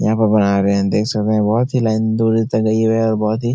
यहाँ पर बना रहे हैं। देख सकते हैं बोहोत ही लाइन दुरी तक गयी है और बोहोत ही --